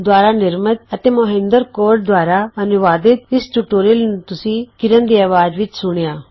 LTD ਦੁਆਰਾ ਨਿਰਮਤ ਅਤੇ ਮੌਹਿੰਦਰ ਕੌਰ ਦੁਆਰਾ ਅਨੁਵਾਦਿਤ ਇਸ ਟਯੂਟੋਰਿਅਲ ਨੂੰ ਤੁਸੀ ਕਿਰਣ ਦੀ ਅਵਾਜ਼ ਵਿੱਚ ਸੁਣਿਆ